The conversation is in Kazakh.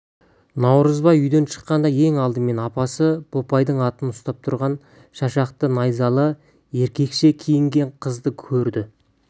наурызбай үйден шыққанда ең алдымен апасы бопайдың атын ұстап тұрған шашақты найзалы еркекше киінген қызды көрді